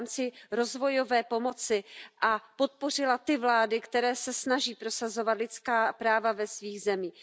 v rámci rozvojové pomoci, a podpořila ty vlády, které se snaží prosazovat lidská práva ve svých zemích.